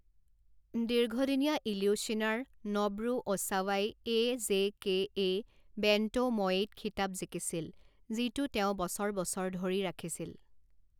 দীৰ্ঘদিনীয়া ইলিউশ্বিনাৰ ন'বৰু অ'চাৱাই A J K A bantamweight খিতাপ জিকিছিল, যিটো তেওঁ বছৰ বছৰ ধৰি ৰাখিছিল।